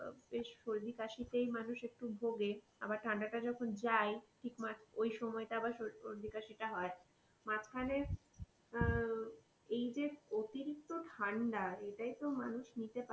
এই সর্দি কাশিতেই মানুষ একটু ভোগে আবার ঠান্ডা টাই যখন যাই, ঠিক ওই সময় টাই আবার সর্দি কাশি টা হয়. মাঝখানে আহ এই যে অতিরিক্ত ঠান্ডা এই টাই মানুষ নিতে পারছে না.